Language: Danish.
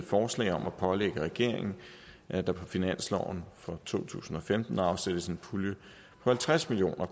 forslag om at pålægge regeringen at der på finansloven for to tusind og femten afsættes en pulje på halvtreds million